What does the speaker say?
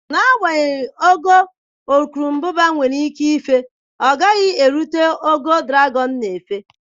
N'agbanyeghị ogo urukurubụba nwere ike ife efe, ọ gaghị erute ogo dragọn n'éfè.